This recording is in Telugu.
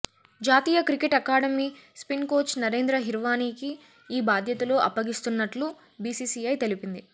జాతీయ cricket academy spin coach Narendra హీర్వాణికి ఈ బాధ్యతలు అప్పగిస్తున్నట్లు బిసిసిఐ తెలిపింది